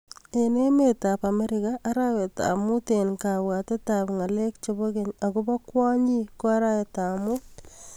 Eng emet ab amerika, arawet ab mut eng kabwatet ab ngalek chebo keny akobo kwonyik ko arawet ab mut.